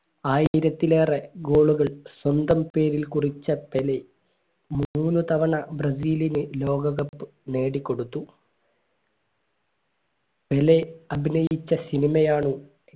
ആയിരത്തിലേറെ goal കൾ സ്വന്തം പേരിൽ കുറിച്ച പെലെ മൂന്ന് തവണ ബ്രസീലിന് ലോക cup നേടിക്കൊടുത്തു പെലെ അഭിനയിച്ച സിനിമയാണ്